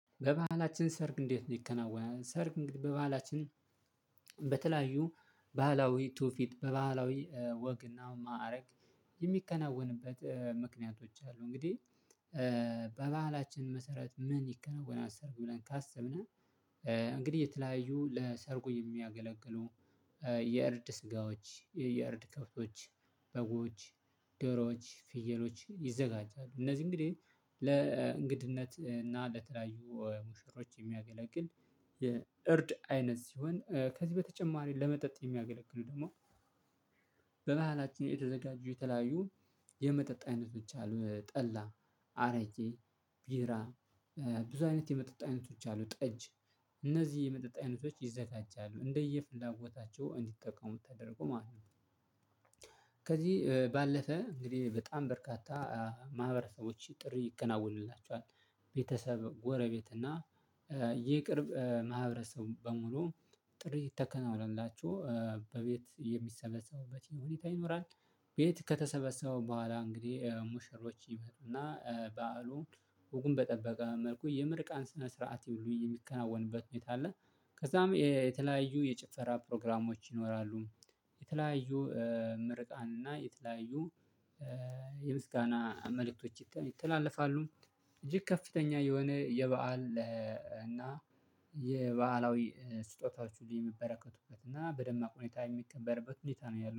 በባህላችን ሰርግ እንዴት ይከናወናል? ሰርግ በባህላችን በተለያዩ ባህላዊ ትውፊት በባህላዊ ወግና ማዕረግ የሚከናወንበት ምክንያቶች አሉ። እንግዲህ በባህላችን መሰረት ምን ይከናወናት ሰርግ ብለን ካሰብነው እንግዲህ የተለያዩ ለሰርጉ የሚያገለግሉ የእርድ ስጋዎች የእርድ ከፍቶች በጎች ደሮዎች ፍየሎች ይዘጋጃሉ። እነዚህ እንግዲህ ለእንግድነት እና ለተለያዩ ሙሽሮች የሚያገለግል የእርድ አይነት ሲሆን ከዚህ በተጨማሪ ለመጠጥ የሚያገለግሉ ደግሞ በመሃላችን የተዘጋጁ የተለያዩ የመጠጥ አይነቶች አሉ። ጠላ አረጄ ቢራ ብዙ አይነት የመጠጣት አይነቶች አሉ ጠጅ እነዚህ የመጠጣት አይነቶች ይዘጋጃሉ እንደየ ፍላጎታቸው እንዲጠቀሙት ተደርጎ ማለት ነው። ከዚህ ባለፈ እንግዲህ በጣም በርካታ ማህበረሰቦች ጥሪ ይከናወንላቸዋል ቤተሰብ ጎረቤት እና ይቅርብ ማህበረሰቡ በሙሉ ጥሪ ይተከናወናላችሁ። በቤት የሚሰበሰቡበት ይሁን ይኖራል ቤት ከተሰበሰበው በኋላ እንግዲህ ሙሽሮች ይበርና በዓሉ ውጉን በጠበቀ መልኩ የምርቃን ስነ ስርዓት የሚከናወንበት መልኩ አለ። ከዛም የተለያዩ የጭፈራ ፕሮግራሞች ይኖራሉ። የተለያዩ ምርቃን እና የተለያዩ የምስጋና አመለክቶች ይተላለፋሉ። እጅግ ከፍተኛ የሆነ የበአል እና የበአላዊ ስጦታዎች ሊበረከቱበት እና በደማቅ ሁኔታ የሚከበርበት ሁኔታ ነው ያለው